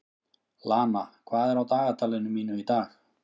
Lana, hvað er á dagatalinu mínu í dag?